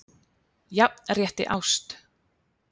Jafnrétti ást?